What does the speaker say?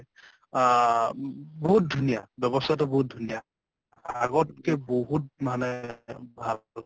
অ বহুত ধুনীয়া। ব্যবস্থা টো বহুত ধুনীয়া । আগতকৈ বহুত মানে ভাল হল।